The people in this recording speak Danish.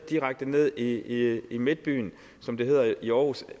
direkte ned i i midtbyen som det hedder i aarhus